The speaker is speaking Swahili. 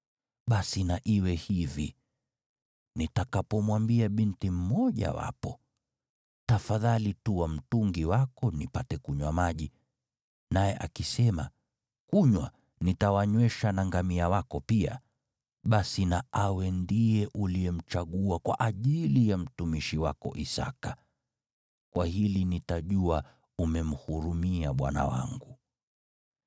Basi na iwe hivi, nitakapomwambia binti mmojawapo, ‘Tafadhali tua mtungi wako nipate kunywa maji,’ naye akisema, ‘Kunywa, nitawanywesha na ngamia wako pia.’ Basi na awe ndiye uliyemchagua kwa ajili ya mtumishi wako Isaki. Kwa hili nitajua umemhurumia bwana wangu.”